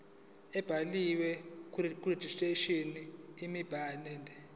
ebhaliwe karegistrar imibandela